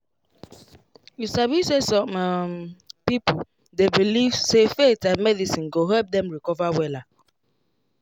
you sabi say some um people dey believe say faith and medicine go help them recover wella